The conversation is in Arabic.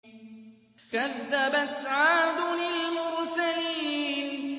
كَذَّبَتْ عَادٌ الْمُرْسَلِينَ